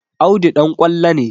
Audu ɗan ƙwallo ne